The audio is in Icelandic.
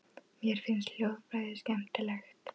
Mér finnst hljóðfræði skemmtileg.